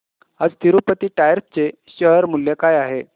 आज तिरूपती टायर्स चे शेअर मूल्य काय आहे